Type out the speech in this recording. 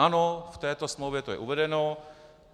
Ano, v této smlouvě je to uvedeno.